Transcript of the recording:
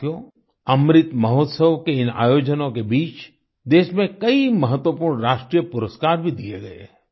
साथियो अमृत महोत्सव के इन आयोजनों के बीच देश में कई महत्वपूर्ण राष्ट्रीय पुरस्कार भी दिए गए